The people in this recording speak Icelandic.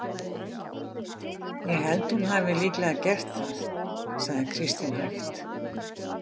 Ég held að hún hafi líklega gert það, sagði Kristín hægt.